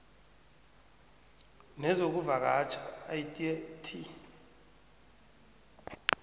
nezokuvakatjha idea t